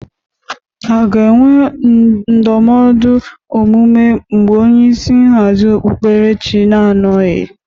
A ga-enwe ndọmọdụ omume mgbe onyeisi nhazị okpuperechị na-anọghị?